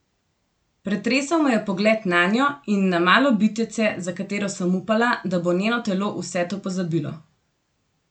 Pretresel me je pogled nanjo in na malo bitjece, za katero sem upala, da bo njeno telo vse to pozabilo.